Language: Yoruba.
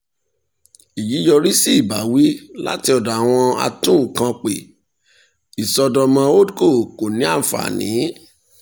èyí yọrí sí ìbáwí láti ọ̀dọ̀ àwọn atúnkàn pé ìṣọ́dọ̀mọ́ holdco kò ní ànfàní.